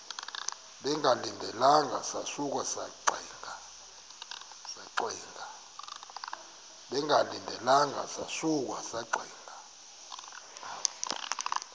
bengalindelanga sasuka saxinga